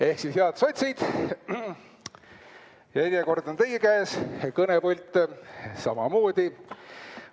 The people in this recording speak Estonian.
Ehk siis, head sotsid, järjekord on teie käes, kõnepult samamoodi.